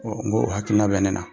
N k'o hakilina bɛ ne na,